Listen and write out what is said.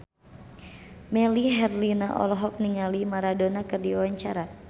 Melly Herlina olohok ningali Maradona keur diwawancara